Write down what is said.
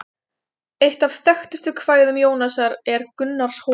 Eitt af þekktustu kvæðum Jónasar er Gunnarshólmi.